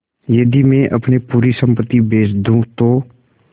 यदि मैं अपनी पूरी सम्पति बेच दूँ तो